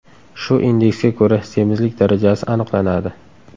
Shu indeksga ko‘ra semizlik darajasi aniqlanadi.